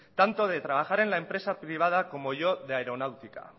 tanto de trabajar en la empresa privada como yo de aeronáutica